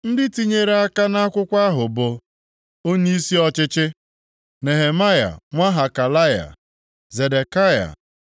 Ndị tinyere aka, nʼakwụkwọ ahụ bụ: Onyeisi ọchịchị: Nehemaya nwa Hakalaya. Zedekaya,